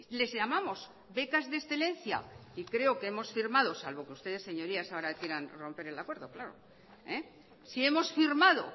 les llamamos becas de excelencia y creo que hemos firmado salvo que ustedes señorías ahora quieran romper el acuerdo claro si hemos firmado